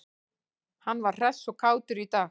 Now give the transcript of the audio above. Hann var hress og kátur í dag.